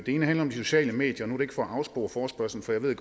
ene handler om de sociale medier og nu ikke for at afspore forespørgselsdebatten